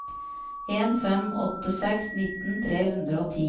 en fem åtte seks nitten tre hundre og ti